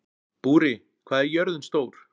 Búri, hvað er jörðin stór?